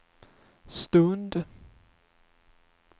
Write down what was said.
stund